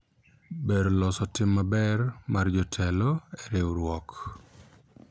ber loso tim maber mar jotelo e riwruok